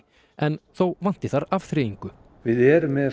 en þó vanti afþreyingu við erum með